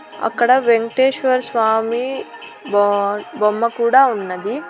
అక్కడ వెంకటేశ్వర్ స్వామి బాడ్ బొమ్మ కూడా ఉన్నది.